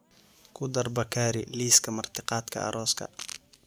ku dar bakari liiska martiqaadka arooska